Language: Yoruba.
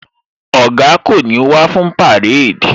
Oga kò ní wá fún parade